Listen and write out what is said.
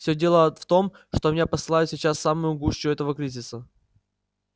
всё дело в том что меня посылают сейчас в самую гущу этого кризиса